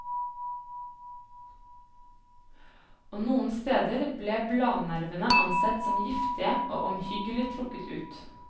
Og noen steder ble bladnervene ansett som giftige og omhyggelig trukket ut.